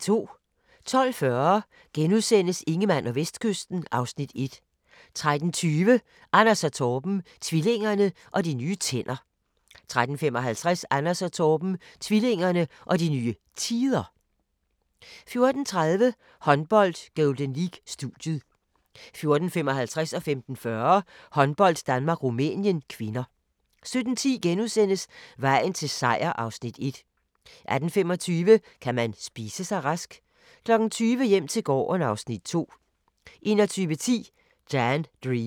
12:40: Ingemann og Vestkysten (Afs. 1)* 13:20: Anders & Torben - tvillingerne og de nye tænder 13:55: Anders & Torben - tvillingerne og de nye tider 14:30: Håndbold: Golden League - studiet 14:55: Håndbold: Danmark-Rumænien (k) 15:40: Håndbold: Danmark-Rumænien (k) 17:10: Vejen til Seier (Afs. 1)* 18:25: Kan man spise sig rask? 20:00: Hjem til gården (Afs. 2) 21:10: Dan Dream